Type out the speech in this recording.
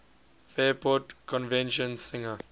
fairport convention singer